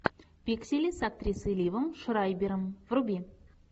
пиксели с актрисой ливом шрайбером вруби